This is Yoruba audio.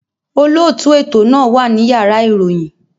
Olótùú ètò náà wà ní Yàrá ìròyìn.